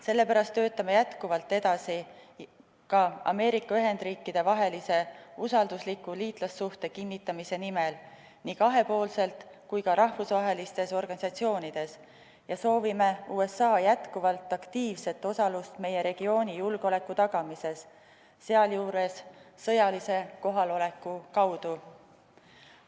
Sellepärast töötame jätkuvalt edasi ka Ameerika Ühendriikidega usaldusliku liitlassuhte kinnistamise nimel nii kahepoolselt kui ka rahvusvahelistes organisatsioonides ja soovime USA jätkuvalt aktiivset osalust meie regiooni julgeoleku tagamises, sealjuures sõjalise kohaloleku kaudu.